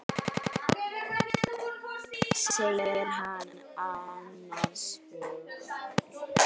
segir hann annars hugar.